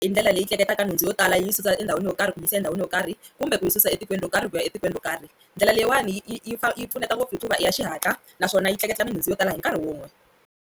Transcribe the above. Hi ndlela leyi tleketlaka nhundzu yo tala yi yi susa endhawini yo karhi ku yisa endhawini yo karhi kumbe ku yi susa etikweni ro karhi ku ya etikweni ro karhi, ndlela leyiwani yi yi yi yi pfuneta ngopfu hikuva i ya xihatla naswona yi tleketla nhundzu yo tala hi nkarhi wun'we.